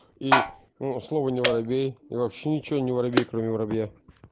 и ну слово не воробей и вообще ничего не воробей кроме воробья